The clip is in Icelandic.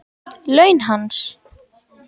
Laun hans?